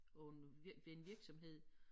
På en ved ved en virksomhed